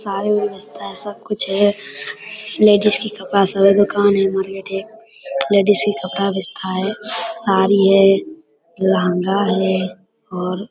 साड़ी उड़ी बेचता है सब कुछ है। लेडीज की कपड़ा सब है दुकान है हमारी एत्ठे लेडीज का कपड़ा बेचता है साड़ी है लहंगा है और --